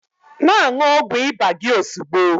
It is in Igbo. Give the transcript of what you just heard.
Na-aṅụ ọgwụ ịba gị ozugbo!